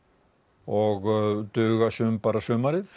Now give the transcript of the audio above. og duga sum bara sumarið